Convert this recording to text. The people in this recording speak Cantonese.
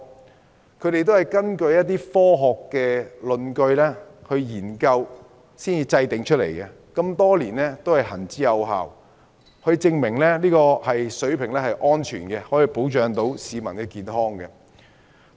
這個上限是他們根據科學論據和研究後訂定的，多年來一直行之有效，證明這個標準是安全的，可以保障市民健康。